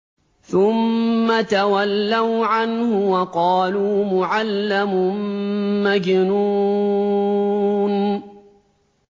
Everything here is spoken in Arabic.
ثُمَّ تَوَلَّوْا عَنْهُ وَقَالُوا مُعَلَّمٌ مَّجْنُونٌ